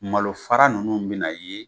Malo fara ninnu bɛ na ye.